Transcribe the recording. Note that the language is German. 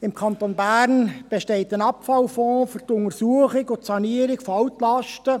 Im Kanton Bern besteht ein Abfallfonds für die Untersuchung und Sanierung von Altlasten.